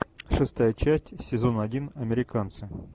шестая часть сезон один американцы